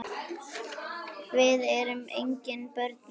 Við erum engin börn lengur.